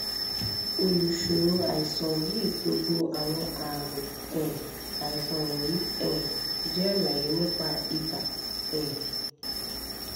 olùṣòro àìsàn yìí gbogbo awọn aami um aisan wọnyi um jẹ alaye nipa iba um